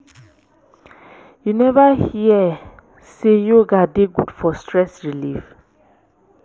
you never hear sey yoga dey good for stress relief?